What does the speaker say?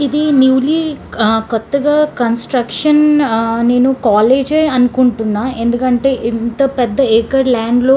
ఇది newly ah కొత్తగా construction ah నేను కాలేజ్ అనుకుంటున్నా ఎందుకంటే ఇంత పెద్ద ఎకర్ ల్యాండ్ లో --